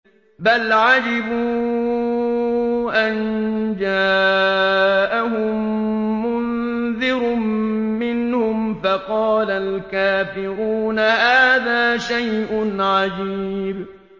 بَلْ عَجِبُوا أَن جَاءَهُم مُّنذِرٌ مِّنْهُمْ فَقَالَ الْكَافِرُونَ هَٰذَا شَيْءٌ عَجِيبٌ